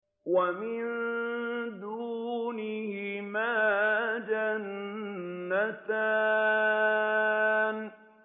وَمِن دُونِهِمَا جَنَّتَانِ